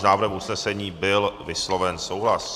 S návrhem usnesení byl vysloven souhlas.